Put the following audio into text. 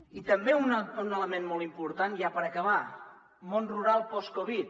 i també un element molt important ja per acabar món rural post covid